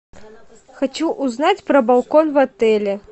хочу узнать про балкон в отеле